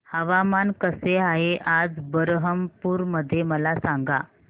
हवामान कसे आहे आज बरहमपुर मध्ये मला सांगा